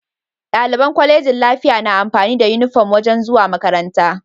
Daliban colejin lafiya na amfani da inufom wajan zuwa makaranta